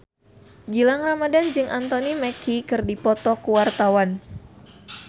Gilang Ramadan jeung Anthony Mackie keur dipoto ku wartawan